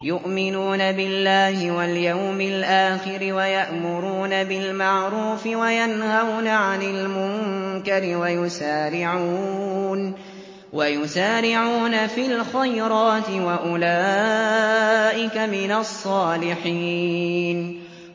يُؤْمِنُونَ بِاللَّهِ وَالْيَوْمِ الْآخِرِ وَيَأْمُرُونَ بِالْمَعْرُوفِ وَيَنْهَوْنَ عَنِ الْمُنكَرِ وَيُسَارِعُونَ فِي الْخَيْرَاتِ وَأُولَٰئِكَ مِنَ الصَّالِحِينَ